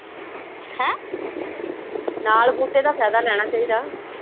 ਨਾਲ ਬੂਟੇ ਦਾ ਫਾਇਦਾ ਲੈਣਾ ਚਾਹੀਦਾ